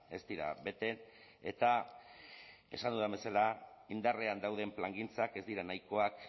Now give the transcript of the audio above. ez dira bete eta esan dudan bezala indarrean dauden plangintzak ez dira nahikoak